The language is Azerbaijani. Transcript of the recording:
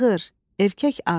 Ayğır, erkək at.